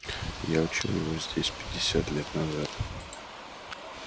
я учил его здесь пятьдесят лет назад